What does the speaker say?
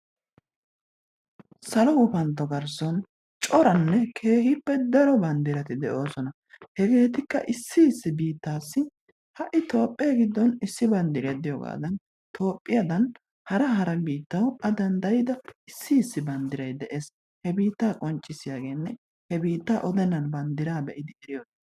Sallo gufantto garssan corannekehippe daro bandiratti de'osonna hevettikka issi issi bittati, ha'i toophe gidon issi bandiryaa de'itogadan har hara bittan a dandayidda issi bandiray dees, he bitta qonccissiyagenne he bittaa odennan bandiraa be'iddi eriyogee.